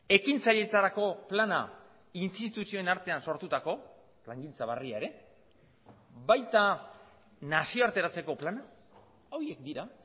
ekintzailetzarako plana instituzioen artean sortutako plangintza berria ere baita nazioarteratzeko plana horiek dira